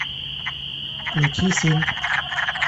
включи сын